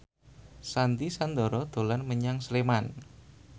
Sandy Sandoro dolan menyang Sleman